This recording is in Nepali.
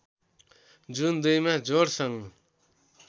जुन २ मा जोडसँग